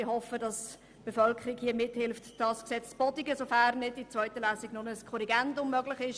Ich hoffe, dass die Bevölkerung mithilft, das StG zu bodigen, sofern nicht in der zweiten Lesung ein Korrigendum möglich ist.